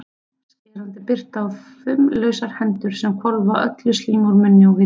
Skerandi birta og fumlausar hendur sem hvolfa öllu slími úr munni og vitum.